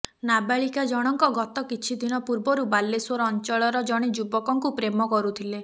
ନାବାଳିକା ଜଣଙ୍କ ଗତକିଛି ଦିନ ପୂର୍ବରୁ ବାଲେଶ୍ୱର ଅଞ୍ଚଳର ଜଣେ ଯୁବକଙ୍କୁ ପ୍ରେମ କରୁଥିଲେ